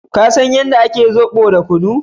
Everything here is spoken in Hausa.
ka san yadda ake zobo da kunu